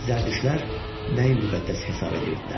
Zərdüştlər nəyi müqəddəs hesab edirdilər?